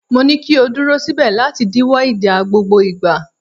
Mo ní kí o dúró síbẹ̀ láti díwọ́ ìjà gbogbo ìgbà.!